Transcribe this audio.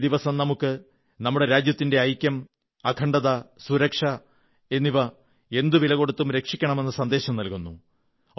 ഈ ദിവസം നമുക്ക് നമ്മുടെ രാജ്യത്തിന്റെ ഐക്യം അഖണ്ഡത സുരക്ഷ എന്നിവ എന്തു വിലകൊടുത്തും രക്ഷിക്കണമെന്ന സന്ദേശം നല്കുന്നു